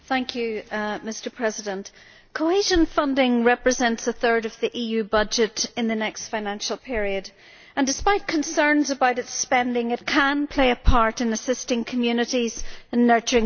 Mr President, cohesion funding represents a third of the EU budget in the next financial period and, despite concerns about its spending, it can play a part in assisting communities and nurturing business.